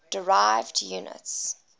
derived units